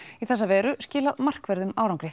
í þessa veru skilað markverðum árangri